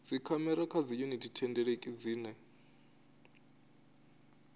dzikhamera kha dziyuniti thendeleki dzine